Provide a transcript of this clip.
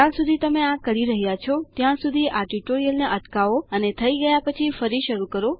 જ્યાં સુધી તમે આ કરી રહ્યા છો ત્યાં સુધી આ ટ્યુટોરીયલને અટકાવો અને થઇ ગયા પછી ફરી શરુ કરો